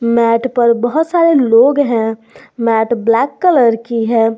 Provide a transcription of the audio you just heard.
Mat पर बहोत सारे लोग हैं मैट ब्लैक कलर की है।